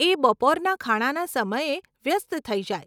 એ બપોરના ખાણાના સમયે વ્યસ્ત થઇ જાય.